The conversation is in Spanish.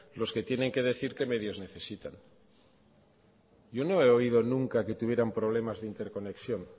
los que tienen que decir qué medios necesitan yo no he oído nunca que tuvieran problemas de interconexión